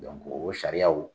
o sariyaw